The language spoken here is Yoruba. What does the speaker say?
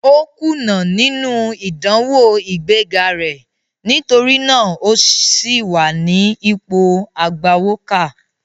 Ó kùnà nínú ìdánwò ìgbé ga rẹ̀, nítorí náà o sì wà ní ipò agbawókà.